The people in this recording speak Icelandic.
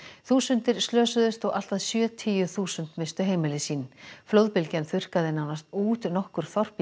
þúsundir slösuðust og allt að sjötíu þúsund misstu heimili sín flóðbylgjan þurrkaði nánast út nokkur þorp í